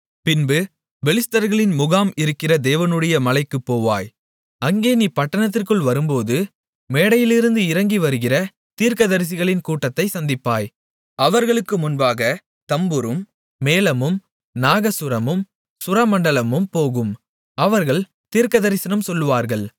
பின்பு பெலிஸ்தர்களின் முகாம் இருக்கிற தேவனுடைய மலைக்குப் போவாய் அங்கே நீ பட்டணத்திற்குள் வரும்போது மேடையிலிருந்து இறங்கி வருகிற தீர்க்கதரிசிகளின் கூட்டத்தைச் சந்திப்பாய் அவர்களுக்கு முன்பாகத் தம்புரும் மேளமும் நாகசுரமும் சுரமண்டலமும் போகும் அவர்கள் தீர்க்கதரிசனம் சொல்வார்கள்